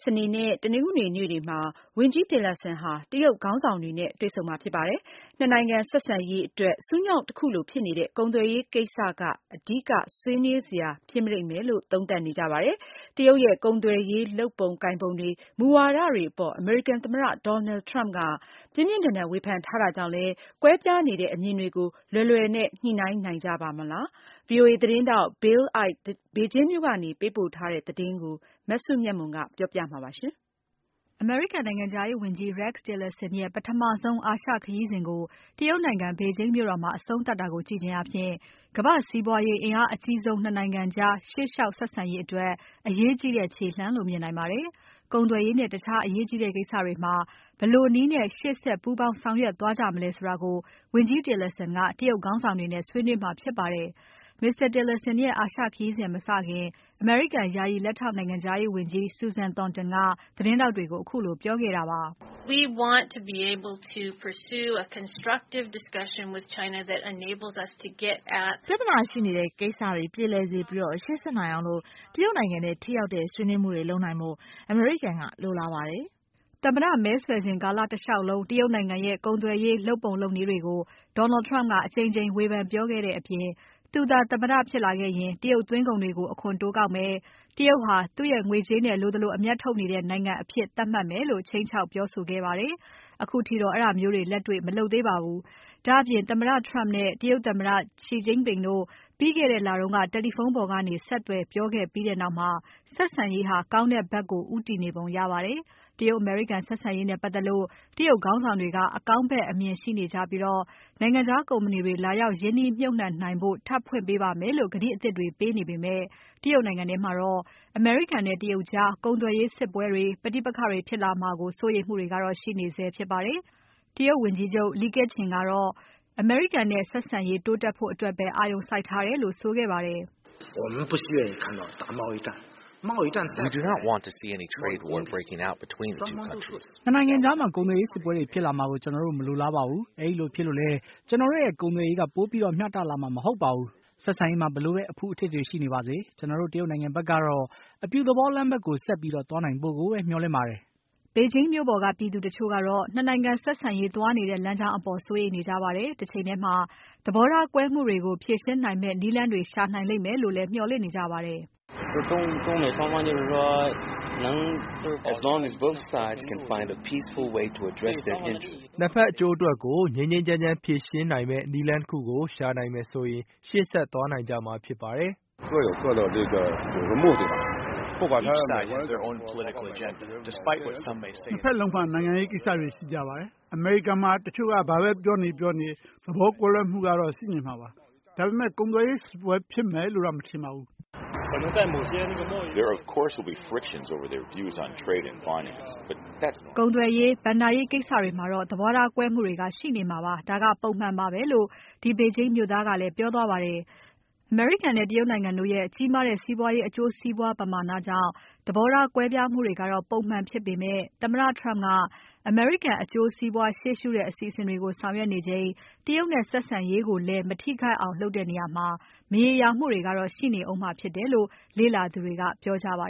စနေနဲ့ တနင်္ဂနွေနေ့တွေမှာ တရုတ်နိုင်ငံမှာ တရုတ်ခေါင်းဆောင်တွေနဲ့ တွေ့ဆုံတဲ့အခါမှာ ၂ နိုင်ငံဆက်ဆံရေးအတွက် ဆူးညှောင့်တခုလိုဖြစ်နေတဲ့ ကုန်သွယ်ရေးကိစ္စက အဓိကဆွေးနွေးစရာဖြစ်ပါလိမ့်မယ်။ တရုတ်ရဲ့ ကုန်သွယ်ရေးလုပ်ပုံ ကိုင်ပုံတွေ၊ မူဝါဒတွေအပေါ် အမေရိကန်သမ္မတ Donald Trump ကပြင်းပြင်းထန်ထန် ဝေဖန်ထားတာကြောင့် ကွဲပြားနေတဲ့ အမြင်တွေကို လွယ်လွယ်နဲ့ ညှိနိုင်ကြပါ့မလား။ VOA သတင်းထောက် Bill Ide ဘေဂျင်းမြို့ကနေ ပေးပို့ထားတဲ့ သတင်းကို မစုမြတ်မွန်က တင်ပြပါမယ်။ အမေရိကန်နိုင်ငံခြားရေးဝန်ကြီး Rex Tillerson ရဲ့ပထမဆုံး အာရှခရီးစဉ်ကို တရုတ်နိုင်ငံ ဘေဂျင်းမြို့မှာ အဆုံးသတ်တာကို ကြည့်ခြင်းဖြင့် ကမ္ဘာ့စီးပွားရေးအင်အားအကြီးဆုံး ၂ နိုင်ငံကြား ရှေ့လျှောက် ဆက်ဆံရေးအတွက် အရေးကြီးတဲ့ ခြေလှမ်းလို့ မြင်နိုင်ပါတယ်။ ကုန်သွယ်ရေးနဲ့ တခြားအရေးကြီးတဲ့ကိစ္စတွေမှာ ဘယ်လိုနည်းနဲ့ ရှေ့ဆက် ပူးပေါင်းဆောင်ရွက် သွားကြမလဲဆိုတာကို ဝန်ကြီး Tillerson က တရုတ်ခေါင်းဆောင်တွေ နဲ့ ဆွေးနွေးမှာဖြစ်ပါတယ်။ Mr. Tillerson ရဲ့အာရှခရီးမစခင် အမေရိကန် ယာယီလက်ထောက်နိုင်ငံခြားရေးဝန်ကြီး Susan Thornton ကသတင်းထောက်တွေကို ခုလိုပြောခဲ့တာပါ။ "ပြဿနာရှိနေတဲ့ကိစ္စတွေ ပြေလည်စေပြီး ရှေ့ဆက်နိုင်အောင် တရုတ်နိုင်ငံနဲ့ ထိရောက်တဲ့ ဆွေးနွေးမှုတွေ လုပ်နိုင်ဖို့ အမေရိကန်က လိုလားပါတယ်။" သမ္မတ မဲဆွယ်စဉ်ကာလတလျှောက်လုံး တရုတ်နိုင်ငံရဲ့ ကုန်သွယ်ရေးလုပ်ပုံ လုပ်နည်းတွေကို Donald Trump က အကြိမ်ကြိမ် ဝေဖန်ပြောခဲ့တဲ့အပြင် သူသာ သမ္မတဖြစ်လာရင် တရုတ်သွင်းကုန်တွေကို အခွန်တိုးကောက်မယ်၊ တရုတ်ဟာ သူ့ရဲ့ငွေကြေးနဲ့ လိုသလိုအမြတ်ထုတ်နေတဲ့နိုင်ငံအဖြစ် သတ်မှတ်မယ်လို့ ခြိမ်းခြောက် ပြောဆိုခဲ့ပါတယ်။ အခုထိတော့ အဲဒါမျိုးတွေလက်တေ့ွမလုပ်သေးပါဘူး။ ဒါ့အပြင် သမ္မတ Trump နဲ့ တရုတ်သမ္မတ Xi Jinping တို့ ပြီးခဲ့တဲ့လက တယ်လီဖုန်းပေါ်ကနေ ဆက်သွယ်ပြောခဲ့ပြီးနောက်မှာ ဆက်ဆံရေးဟာ ကောင်းတဲ့ဘက်ကို ဦးတည်နေပုံရပါတယ်။ တရုတ်အမေရိကန်ဆက်ဆံရေးနဲ့ပါတ်သက်လို့ တရုတ်ခေါင်းဆောင်တွေက အကောင်းဖက် အမြင်ရှိနေကြပြီး နိုင်ငံခြားကုမ္ပဏီတွေ လာရောက်ရင်းနှီးမြှုပ်နှံနိုင်ဖို့ ထပ်ဖွင့်ပေးပါမယ်လို့ ကတိအသစ်တွေပေးနေပေမဲ့ တရုတ်နိုင်ငံထဲမှာတော့ အမေရိကန်နဲ့ တရုတ်ကြား ကုန်သွယ်ရေးစစ်ပွဲတွေ၊ ပဋိပက္ခတွေဖြစ်လာမှာကို စိုးရိမ်မှုတွေကတော့ ရှိနေဆဲဖြစ်ပါတယ်။ တရုတ်ဝန်ကြီးချုပ် Li Keqiang ကတော့ အမေရိကန်နဲ့ ဆက်ဆံရေးတိုးတက်ရေးအတွက်ပဲ အာရုံစိုက်ထားတယ်လို့ ဆိုခဲ့ပါတယ်။ "၂ နိုင်ငံကြားမှာ ကုန်သွယ်ရေးစစ်ပွဲတွေဖြစ်လာမှာကို ကျွန်တော်တို့မလိုလားပါဘူး။ အဲဒီလိုဖြစ်လို့လည်း ကျွန်တော်တို့ရဲ့ ကုန်သွယ်ရေးက ပိုပြီးမျှတလာမှာ မဟုတ်ပါဘူး။ ဆက်ဆံရေးမှာ ဘယ်လို အဖုအထစ်တွေပဲရှိနေပါစေ၊ ကျွန်တော်တို့ တရုတ်နိုင်ငံဘက် ကတော့ အပြုသဘော လမ်းဘက်ကို ဆက်ပြီးသွားနိုင်ဖို့ကိုပဲ မျှော်လင့်ပါတယ်။" တရုတ်နိုင်ငံ ဘေဂျင်းမြို့ပေါ်က ပြည်သူတချို့ကတော့ ၂ နိုင်ငံဆက်ဆံရေးသွားနေတဲ့ လမ်းကြောင်း အပေါ် စိုးရိမ်နေကြပါတယ်။ တချိန်ထဲမှာသဘောထားကွဲမှုတွေကို ဖြေရှင်းနိုင်မယ့် နည်းလမ်းတွေ ရှာနိုင်မယ်လို့လည်း မျှော်လင့်နေကြပါတယ်။ "၂ ဘက်အကျိုးအတွက် ငြိမ်းငြိမ်းချမ်းချမ်းဖြေရှင်းနိုင်မယ့်နည်းလမ်းတခုကို ရှာနိုင်မယ်ဆိုရင် ရှေ့ဆက်သွားနိုင်ကြမှာဖြစ်ပါတယ်။" "၂ ဘက်လုံးမှာ နိုင်ငံရေးကိစ္စတွေရှိကြပါတယ်။ အမေရိကန်မှာ တချို့ကဘာပဲပြောနေနေ၊ သဘောထားကွဲမှုတွေကတော့ ရှိနေမှာပါ။ ဒါပေမဲ့ ကုန်သွယ်ရေးစစ်ပွဲဖြစ်မယ်လို့တော့ မထင်ပါဘူး။" ကုန်သွယ်ရေး၊ ဘဏ္ဍာရေးကိစ္စတွေမှာတော့ သဘောထားကွဲမှုတွေက ရှိနေမှာပါ။ ဒါကပုံမှန်ပါပဲလို့ ဒီဘေဂျင်းမြို့သားကလည်း ပြောသွားပါတယ်။ အမေရိကန်နိုင်ငံနဲ့ တရုတ်နိုင်ငံတို့ရဲ့ ကြီးမားတဲ့ စီးပွားရေးအကျိုးစီးပွားပမာဏကြောင့် သဘောထား ကွဲမှုတွေက ပုံမှန်ဖြစ်ပေမဲ့ သမ္မတ Trump က အမေရိကန်အကျိုး ရှေ့ရှုတဲ့ အစီအစဉ်တွေကို ဆောင်ရွက်နေချိန်မှာ တရုတ်နဲ့ ဆက်ဆံရေးကို မထိခိုက်အောင် လုပ်တဲ့နေရာမှာ မရေရာမှုတွေကတော့ ရှိနေမှာဖြစ်တယ်လို့ လေ့လာသူတွေက ပြောကြပါ